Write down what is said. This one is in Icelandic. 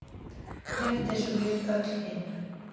Rétt eins og við öll hin.